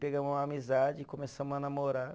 Pegamos uma amizade e começamos a namorar.